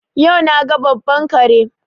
Yau na ga babban kare.